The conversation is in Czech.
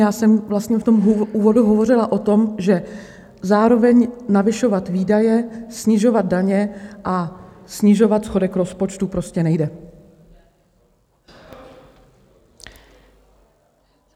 Já jsem vlastně v tom úvodu hovořila o tom, že zároveň navyšovat výdaje, snižovat daně a snižovat schodek rozpočtu prostě nejde.